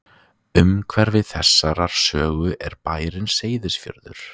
Umhverfi þessarar sögu er bærinn Seyðisfjörður.